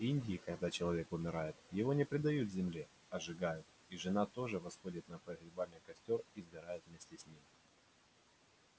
в индии когда человек умирает его не предают земле а сжигают и жена тоже восходит на погребальный костёр и сгорает вместе с ним